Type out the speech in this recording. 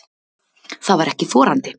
Það var ekki þorandi.